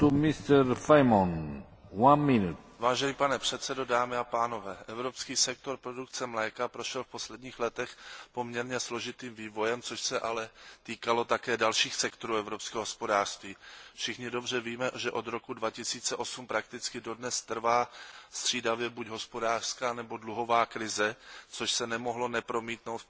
Vážený pane předsedající, evropský sektor produkce mléka prošel v posledních letech poměrně složitým vývojem, což se ale týkalo také dalších sektorů evropského hospodářství. Všichni dobře víme, že od roku 2008 prakticky dodnes trvá střídavě buď hospodářská nebo dluhová krize, což se nemohlo nepromítnout v poptávce i po mléku a mléčných produktech.